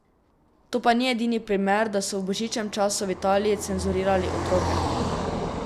To pa ni edini primer, da so v božičnem času v Italiji cenzurirali otroke.